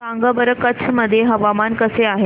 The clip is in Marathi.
सांगा बरं कच्छ मध्ये हवामान कसे आहे